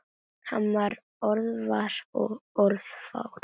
Hann var orðvar og orðfár.